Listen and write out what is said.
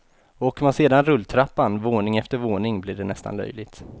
Åker man sedan rulltrappan våning efter våning blir det nästan löjligt.